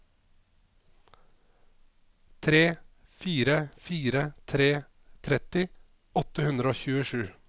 tre fire fire tre tretti åtte hundre og tjuesju